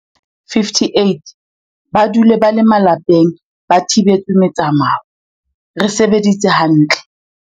58 ba dule ba le malapeng ba thibetswe metsamao, re sebeditse ha ntle.